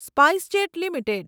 SpiceJet limited